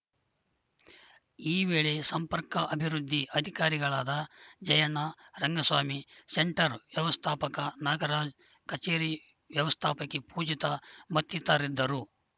ಈ ವೇಳೆ ಸಂಪರ್ಕ ಅಭಿವೃದ್ಧಿ ಅಧಿಕಾರಿಗಳಾದ ಜಯಣ್ಣ ರಂಗಸ್ವಾಮಿ ಸೆಂಟರ್‌ ವ್ಯವಸ್ಥಾಪಕ ನಾಗರಾಜ ಕಚೇರಿ ವ್ಯವಸ್ಥಾಪಕಿ ಪೂಜಿತ ಮತ್ತಿತರಿದ್ದರು